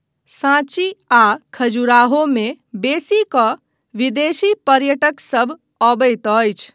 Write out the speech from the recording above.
सांची आ खजुराहो मे बेसी कऽ विदेशी पर्यटकसभ अबैत अछि।